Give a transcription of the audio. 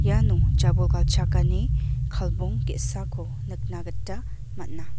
iano jabol galchakani kalbong ge·sako nikna gita man·a.